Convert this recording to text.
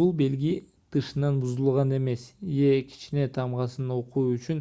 бул белги тышынан бузулган эмес е кичине тамгасын окуу үчүн